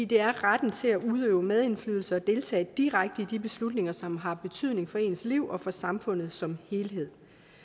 det er retten til at udøve medindflydelse og deltage direkte i de beslutninger som har betydning for ens liv og for samfundet som helhed